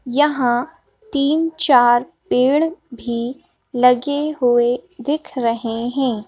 यहां तीन-चार पेड़ भी लगे हुए दिख रहे हैं।